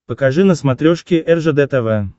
покажи на смотрешке ржд тв